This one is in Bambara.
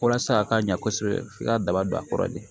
Walasa a ka ɲa kosɛbɛ f'i ka daba don a kɔrɔ de